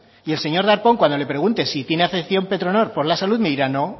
y el señor darpón cuando le pregunte si tiene afección petronor por la salud me dirá no